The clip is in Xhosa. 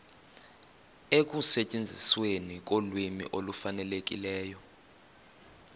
ekusetyenzisweni kolwimi olufanelekileyo